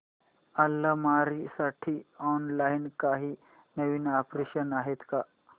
अलमारी साठी ऑनलाइन काही नवीन ऑप्शन्स आहेत का